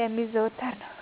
የሚዘወተር ነው።